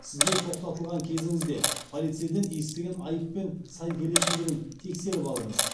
сізге тоқтатылған кезіңізде полицейден естіген айыппен сай келетіндігін тексеріп алыңыз